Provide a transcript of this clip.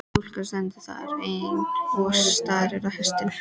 Stúlkan stendur þar enn og starir á hestinn.